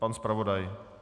Pan zpravodaj.